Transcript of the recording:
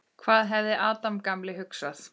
Hvað hefði Adam gamli hugsað?